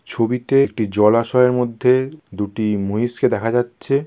ছবিতে একটি জলাশয়ের মধ্যে দুটি মহিষকে দেখা যাচ্ছে।